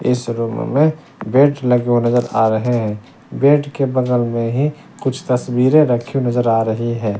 इस रूम में बेड लगे हुए नजर आ रहे हैं बेड के बगल में ही कुछ तस्वीरें रखी नजर आ रही हैं।